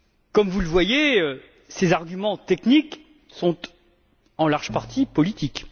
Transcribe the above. Comme vous le voyez, ces arguments techniques sont en grande partie politiques.